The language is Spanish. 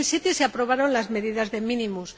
En 2007 se aprobaron las medidas de mínimos.